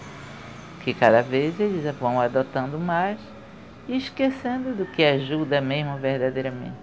Porque cada vez eles vão adotando mais e esquecendo do que ajuda mesmo